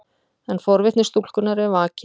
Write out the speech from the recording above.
En forvitni stúlkunnar er vakin.